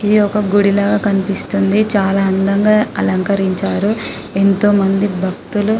ఇది ఒక గుడి లాగా కనిపిస్తుంది చాల అందంగా కనిపిస్తుంది ఎంతో మంది భక్తులు